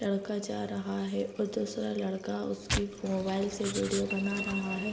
लड़का जा रहा है और दूसरा लड़का उसके फो मोबाइल से वीडियो बना रहा है।